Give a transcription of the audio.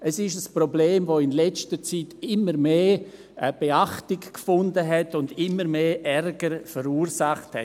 Es ist ein Problem, das in letzter Zeit immer mehr Beachtung gefunden und immer mehr Ärger verursacht hat.